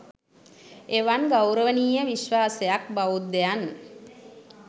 එවන් ගෞරවනීය විශ්වාසයක් බෞද්ධයන්